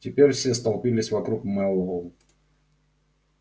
теперь все столпились вокруг мэллоу